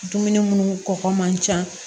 Dumuni munnu kɔgɔ man ca